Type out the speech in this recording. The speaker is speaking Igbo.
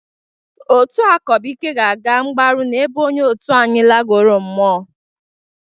Otu akọbụike ga-aga mgbaru n'ebe onye otu anyị lagoro mmụọ